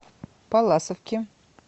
палласовки